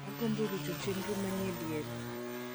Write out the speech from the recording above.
agombo ruch chenro manie diere